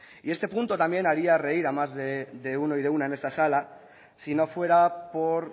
y este punto también haría reír a más de uno y de una en esta sala si no fuera por